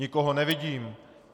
Nikoho nevidím.